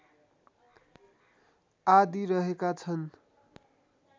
आदि रहेका छन्